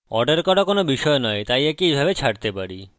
order করা কোনো বিষয় নয় তাই একে এইভাবে ছাড়তে পারি